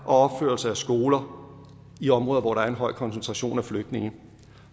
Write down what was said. og opførelse af skoler i områder hvor der er en høj koncentration af flygtninge